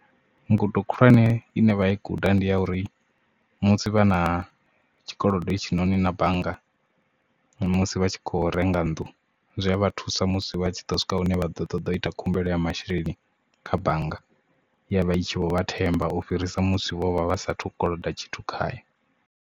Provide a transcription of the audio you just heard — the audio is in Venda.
Ngudo khulwane ine vha i guda ndi ya uri musi vha na tshikolodo hetshinoni na bannga musi vha tshi kho renga nnḓu zwi a vha thusa musi vha tshi ḓo swika hune vha ḓo ṱoḓa u ita khumbelo ya masheleni kha bannga ya vha i tshi vho vha themba u fhirisa musi vho vha vha sathu koloda tshithu khayo.